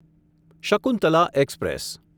Shakuntala express